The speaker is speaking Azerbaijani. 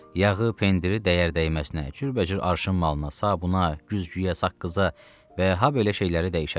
Yağı, pendiri dəyər-dəyərinə cürbəcür arşın malına, sabuna, güzgüyə, saqqıza və habelə şeyləri dəyişərlər.